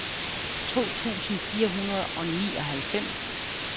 to tusind fire hundrede og nioghalvfems